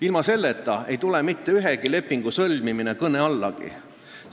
Ilma selleta ei tule mitte ühegi lepingu sõlmimine kõne allagi!